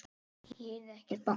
Ég heyrði ekkert bank.